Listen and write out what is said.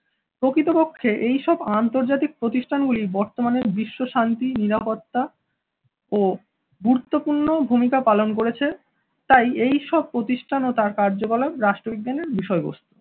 প্রকৃতপক্ষে এই সব আন্তর্জাতিক প্রতিষ্ঠানগুলি বর্তমানে বিশ্ব শান্তি নিরাপত্তা ও গুরুত্বপূর্ণ ভূমিকা পালন করেছে, তাই এই সব প্রতিষ্ঠান ও তার কার্যকলাপ রাষ্ট্রবিজ্ঞানের বিষয়বস্তু